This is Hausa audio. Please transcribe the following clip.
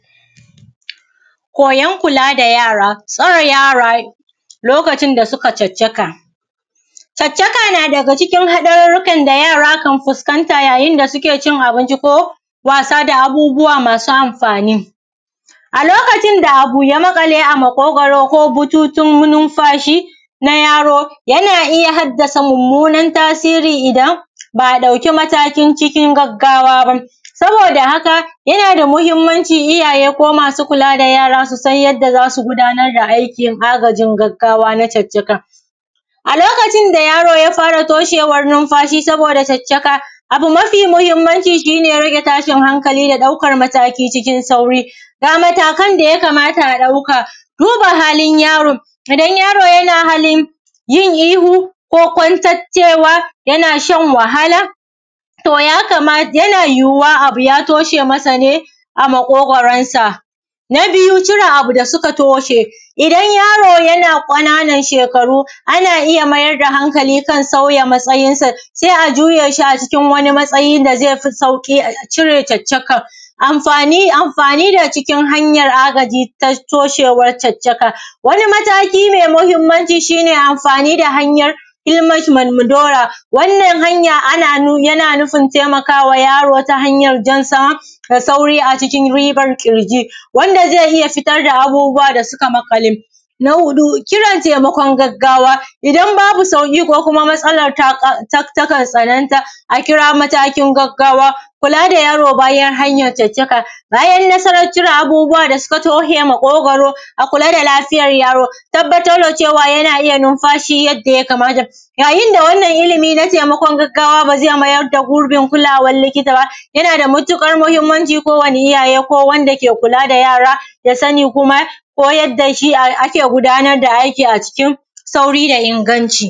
gabatar da abincin gargajiyan ga abokai ba kawai kan abincin yake tsayawa ba yana yana da alaƙa da murnan al`ada a haɓɓaka zumunta da ƙirƙirar kyakkyawan tunani da za a daɗe ana tuna. na biyu cire abu da suka toshe, idan yaro yana ƙananan shekaru ana iya mayar da hankali kan saua matsayin sa sai a juye shi a cikin wani matsayi da zai fi sauƙi a cire caccakan, amfani amfani da cikin hanyar agaji ta toshewar caccakan, wani mataki mai mahimmanci shi ne amfani da hanyar ilmashi malmudoya wannan hanya ana nu yana nufin taimakawa yaro ta hanyar jansa da sauri a cikin ribar ƙirji wanda zai iya fitar da abubuwa da suka maƙale, na huɗu, kiran taimakon gaggawa, idan babu sauƙi ko kuma matsalar ta ƙa takan tsananta a kira matakin gaggawa kula da yaro bayan hanyan caccaka, bayan nasaran cire abubuwa da suka tushe maƙogoro a kula da lafiyar yaro tabbatar da cewa yana iya numfashi yadda ya kamata, yayin da wannan ilimi na taimakon gaggawa ba zai mayar da gurbin kulawan likita ba yana da mutuƙar mahimmanci kowani iyaye ko wanda ke kula da yara ya sani kuma koyar da shi ake gudanar da aiki sauri da inganci.